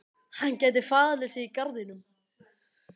Hann gæti falið sig í garðinum.